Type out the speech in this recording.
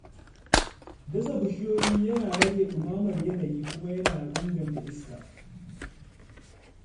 Dasa bishiyoyi yana rage ɗumamar yanayi kuma yana inganta iska.